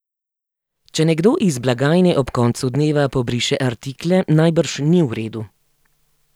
Če nekdo iz blagajne ob koncu dneva pobriše artikle, najbrž ni v redu.